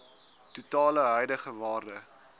totale huidige waarde